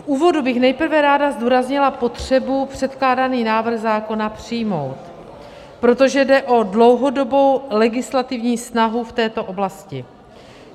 V úvodu bych nejprve ráda zdůraznila potřebu předkládaný návrh zákona přijmout, protože jde o dlouhodobou legislativní snahu v této oblasti.